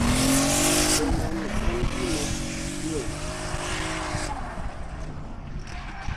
Be, ng'anyo en gima yien?